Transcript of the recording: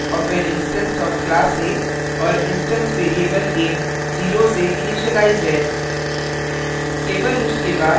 nonstatic block of an instance of class a और instance variable a 0 से initialise है